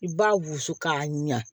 I b'a wusu k'a ɲa